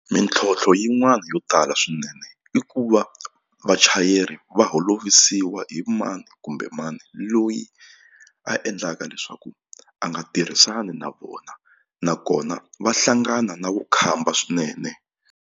Mintlhontlho yin'wani yo tala swinene i ku va vachayeri va holovisiwa hi mani kumbe mani loyi a endlaka leswaku a nga tirhisani na vona nakona va hlangana na vukhamba swinene.